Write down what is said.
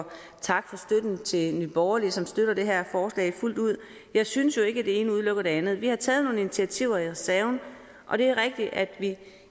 tak for støtten til nye borgerlige som støtter det her forslag fuldt ud jeg synes jo ikke at det ene udelukker det andet vi har taget nogle initiativer i reserven og det er rigtigt at vi